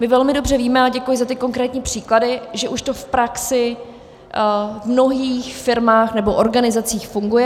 My velmi dobře víme, a děkuji za ty konkrétní příklady, že už to v praxi v mnohých firmách nebo organizacích funguje.